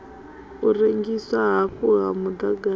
u rengiswa hafhu ha muḓagasi